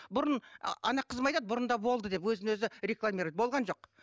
бұрын ана қызым айтады бұрында болды деп өзін өзі рекламирует болған жок